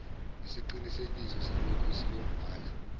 isiqinisekiso salokhu siyobhala